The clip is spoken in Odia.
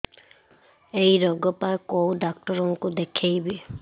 ଏଇ ରୋଗ ପାଇଁ କଉ ଡ଼ାକ୍ତର ଙ୍କୁ ଦେଖେଇବି